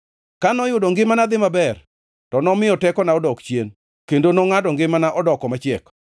Ka noyudo ngimana dhi maber to nomiyo tekona odok chien kendo nongʼado ngimana odoko machiek.